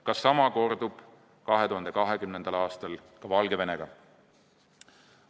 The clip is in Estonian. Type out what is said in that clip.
Kas sama kordub 2020. aastal ka Valgevenega?